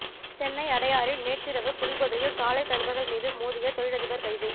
சென்னை அடையாறில் நேற்றிரவு குடிபோதையில் சாலை தடுப்புகள் மீது மோதிய தொழிலதிபர் கைது